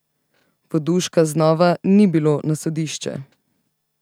Voduška znova ni bilo na sodišče.